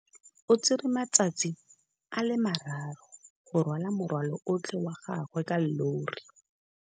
O tsere malatsi a le marraro go rwala morwalo otlhe wa gagwe ka llori.